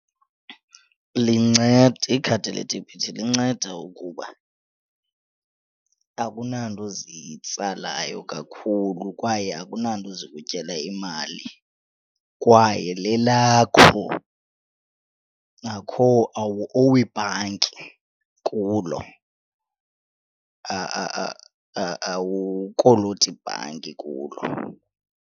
Lincede, ikhadi ledebhithi linceda ukuba akunanto zitsalayo kakhulu kwaye akunanto zikutyela imali kwaye lelakho akho awuowi ibhanki kulo awukoloti bhanki kulo.